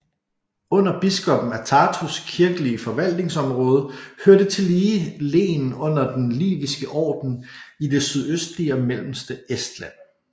Under biskoppen af Tartus kirkelige forvaltningsområde hørte tillige len under Den Liviske Orden i det sydøstlige og mellemste Estland